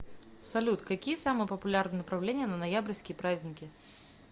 салют какие самые популярные направления на ноябрьские праздники